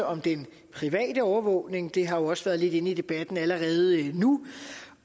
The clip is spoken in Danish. om den private overvågning det har jo også været lidt inde i debatten allerede nu